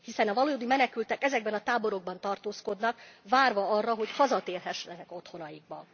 Hiszen a valódi menekültek ezekben a táborokban tartózkodnak, várva arra, hogy hazatérhessenek otthonaikba.